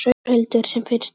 Þórhildur: Sem fyrst þá?